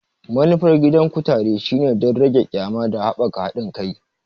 Manufar gidan kutare shine don rage ƙyama da haɓaka haɗin kai.